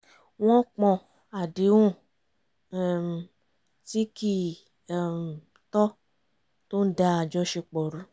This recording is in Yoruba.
wọ́n pọ̀n àdéhùn um tí kì um í tọ́ tó ń dá àjọṣepọ̀ rú